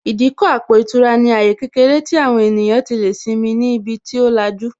Ìdíkọ̀ àpò ìtura ní àyè kékeré tí àwọn ènìyàn tí lè simi ni ibi tí ó lajú